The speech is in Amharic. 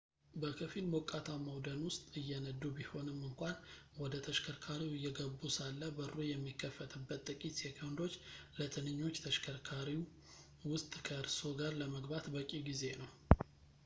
በከፊል ሞቃታማው ደን ውስጥ እየነዱ ቢሆንም እንኳን ወደ ተሽከርካሪው እየገቡ ሳለ በሩ የሚከፈትበት ጥቂት ሴኮንዶች ለትንኞች ተሽከርካሪው ውስጥ ከእርስዎ ጋር ለመግባት በቂ ጊዜ ነው